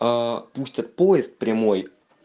пустят поезд прямой